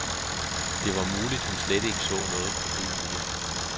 Det var muligt hun slet ikke så noget problem i det.